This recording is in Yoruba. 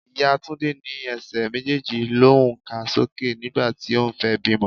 Ìyá Túndé ní Ẹsẹ̀ méjèèjì l'oun ká sókè nígbà tí òun fẹ́ bímọ.